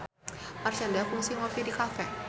Marshanda kungsi ngopi di cafe